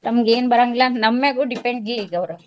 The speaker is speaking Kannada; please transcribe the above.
ತಮಗ್ ಏನ್ ಬರಂಗಿಲ್ಲಾ ನಮ್ಮ್ಯಾಲೂ depend ಇಲ್ ಇಗೌರ.